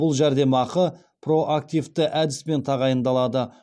бұл жәрдемақы проактивті әдіспен тағайындалады